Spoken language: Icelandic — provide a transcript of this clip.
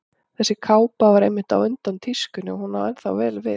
Þessi kápa var einmitt á undan tískunni og hún á ennþá vel við.